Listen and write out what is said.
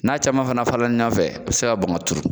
N'a caman fana falen na ɲɔgɔn fɛ, a be se ka bɔn ka turu .